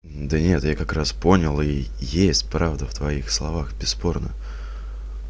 да нет я как раз понял ии есть правда в твоих словах бесспорно